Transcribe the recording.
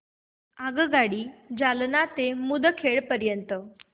आगगाडी जालना ते मुदखेड